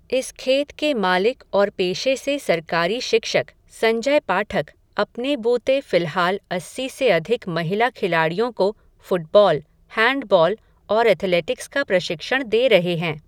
इस खेत के मालिक और पेशे से सरकारी शिक्षक, संजय पाठक, अपने बूते फ़िलहाल अस्सी से अधिक महिला खिलाड़ियों को फ़ुटबॉल, हैंडबॉल, और एथलेटिक्स का प्रशिक्षण दे रहे हैं.